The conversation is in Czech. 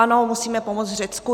Ano, musíme pomoct Řecku.